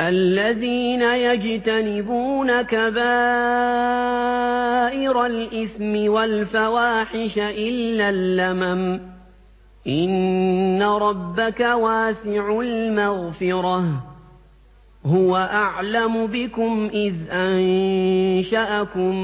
الَّذِينَ يَجْتَنِبُونَ كَبَائِرَ الْإِثْمِ وَالْفَوَاحِشَ إِلَّا اللَّمَمَ ۚ إِنَّ رَبَّكَ وَاسِعُ الْمَغْفِرَةِ ۚ هُوَ أَعْلَمُ بِكُمْ إِذْ أَنشَأَكُم